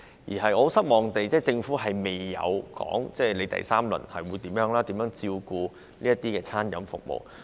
令我感到失望的是，政府未有公布第三輪紓困措施及將會如何照顧餐飲服務業。